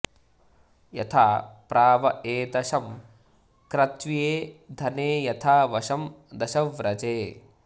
यथा॒ प्राव॒ एत॑शं॒ कृत्व्ये॒ धने॒ यथा॒ वशं॒ दश॑व्रजे